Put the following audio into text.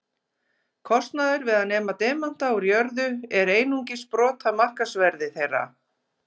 Kostnaður við að nema demanta úr jörðu er einungis brot af markaðsverði þeirra.